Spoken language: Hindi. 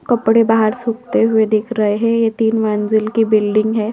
कपड़े बाहर सूखते हुए दिख रहे है ये तीन मंजिल की बिल्डिंग है।